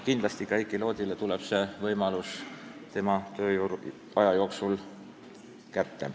Aga kindlasti ka Heiki Loodile tuleb see võimalus tema tööaja jooksul kätte.